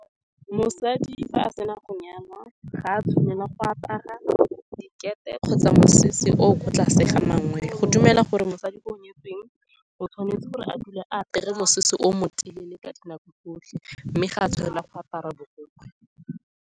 Mosadi, fa a sena go nyana, ga a tshwanela go apara dikete kgotsa mosese oo ko tlase ga mangwele. Go dumelwa gore mosadi yo o nyetsweng o tshwanetse gore a dule a apare mosese o motelele ka dinako tsotlhe, mme ga a tshwanela go apara borokgwe.